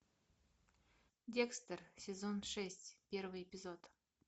декстер сезон шесть первый эпизод